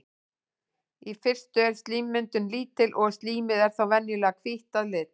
í fyrstu er slímmyndun lítil og slímið er þá venjulega hvítt að lit